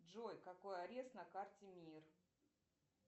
джой какой арест на карте мир